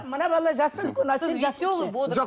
мына бала жасы үлкен